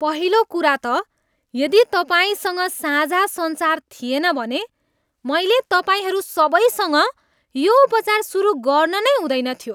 पहिलो कुरा त यदि तपाईँसँग साझा सञ्चार थिएन भने मैले तपाईँहरू सबैसँग यो उपचार सुरु गर्न नै हुँदैन थियो।